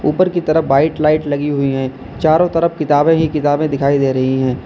ऊपर की तरफ व्हाइट लाइट लगी हुई हैं चारों तरफ किताबें ही किताबें दिखाई दे रही है।